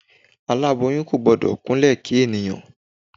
Aláboyún kò gbọ́dọ̀ kúnlẹ̀ kí ènìyàn.